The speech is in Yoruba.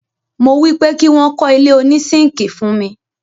mo wípé kí wọ́n kọ́ ilé òní sínkíì fún mi.